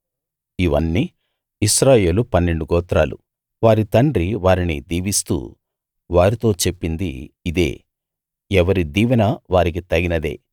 ఇవన్నీ ఇశ్రాయేలు పన్నెండు గోత్రాలు వారి తండ్రి వారిని దీవిస్తూ వారితో చెప్పింది యిదే ఎవరి దీవెన వారికి తగినదే